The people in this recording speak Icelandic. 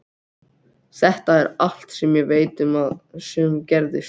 Þetta er allt sem ég veit um það sem gerðist.